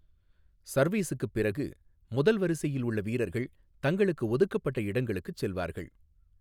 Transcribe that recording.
சர்வீஸுக்குப் பிறகு, முதல் வரிசையில் உள்ள வீரர்கள் தங்களுக்கு ஒதுக்கப்பட்ட இடங்களுக்குச் செல்வார்கள்.